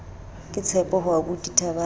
ke tshepo ho aubuti thabang